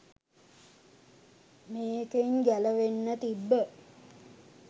මේකෙන් ගැලවෙන්න තිබ්බ